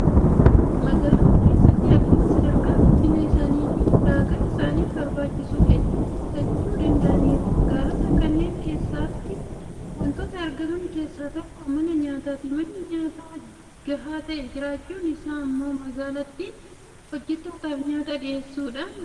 Magaalota keessatti akkuma sadarkaa guddina isaaniitiin ulaagaa isaaniif barbaachisu hedduu guuttachuu danda'aniiru. Magaalota kanneen keessatti waantota argaman keessaa tokko mana nyaataati. Manni nyaata gahaa ta'e jiraachuun isaa immoo magaalattiin hojjettootaaf nyaata dhiyeessuudhaan akka daftee guddattuuf fayyadeera.